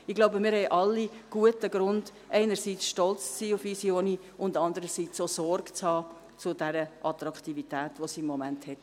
Ich glaube, wir haben alle guten Grund, einerseits stolz zu sein auf unsere Universität und andererseits auch Sorge zu tragen zu dieser Attraktivität, die sie im Moment hat.